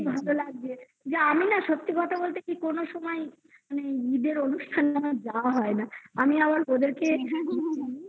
ভালো লাগছে যে আমি না সত্যি কথা বলতে কি কোনো সময় মানে ঈদের অনুষ্ঠান যেন যাওয়া হয় না আমি আবার ওদেরকে